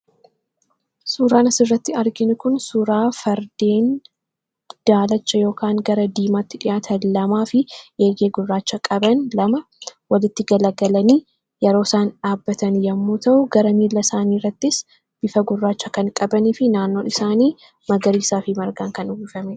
Suuraan asirratti arginu kuni suuraa fardeen daalacha yookaan gara diimaatti dhiyaatan lamaa fi eegee gurraacha qaban lama walitti galagalanii yeroo isaan dhaabbatan yommuu ta'u, gara miilasaanii irrattis bifa gurraacha kan qabanii fi naannoon isaanii magariisaa fi margaan kan uwwifamee dha.